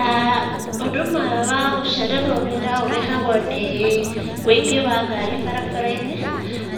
aah Ũndũ ũmwe wa gũcererwo wĩra ũrehagwo nĩ ũingĩ wa ngari barabara-inĩ.